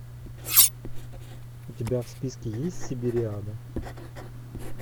у тебя в списке есть сибириада